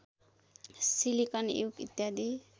silicon युग इत्यादि